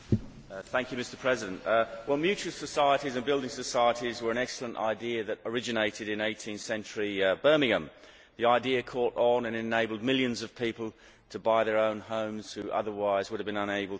Mr President, mutual societies and building societies were an excellent idea that originated in 18th century Birmingham, and the idea caught on and enabled millions of people to buy their own homes when otherwise they would have been unable to do so.